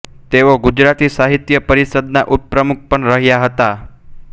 તેઓ ગુજરાતી સાહિત્ય પરિષદના ઉપપ્રમુખ પણ રહ્યા હતા